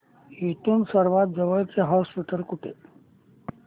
इथून सर्वांत जवळचे हॉस्पिटल कुठले